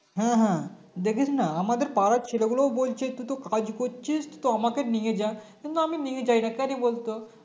হম হম দেখিসনা আমাদের পাড়ার ছেলেগুলোও বলছে তুই তো কাজ করছিস তো আমাকে নিয়ে যা কিন্তু আমি নিয়ে যাইনা কেন বলতো